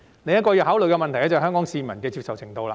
另一個要考慮的問題，是香港市民的接受程度。